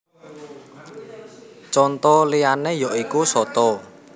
Conto liyané ya iku soto